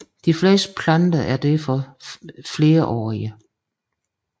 De fleste planter er derfor flerårige